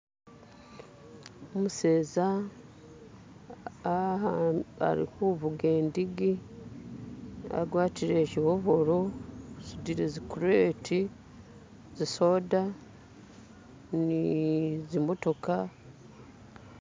Umuseza awa... alikuvuga idigi agwatile shi overall asudile zi create za soda ni zimotoka.